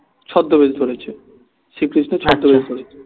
ছদ্দবেশ ধরেছে শ্রীকৃষ্ণ